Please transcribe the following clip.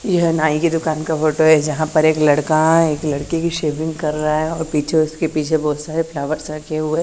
यह नाई की दुकान का फोटो है जहां पर एक लड़का है एक लड़के की शेविंग कर रहा है और पीछे उसके पीछे बहोत सारे फ्लावर्स रखे हुए --